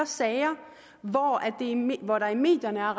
sager hvor der i medierne er